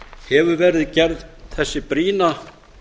hefur verið gerð þessi brýna